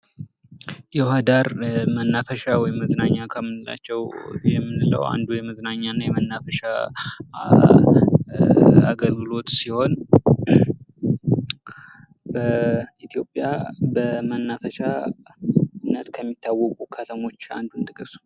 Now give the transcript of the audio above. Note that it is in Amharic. የውሀ ዳር መናፈሻ ወይም መዝናኛ ከምንላቸው የመዝናኛ አገልግሎት ሲሆን ኢትዮጵያ በመናፈሻነት ከሚታወቁ አንዱን ጥቀሱ?